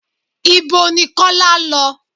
Ìbo ní Kọ́lá lọ?